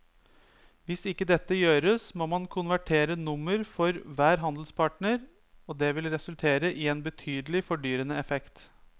Hvis ikke dette gjøres må man konvertere nummer for hver handelspartner og det vil resultere i en betydelig fordyrende effekt.